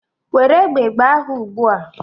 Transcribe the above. Were egbe gbaa ha ugbu a!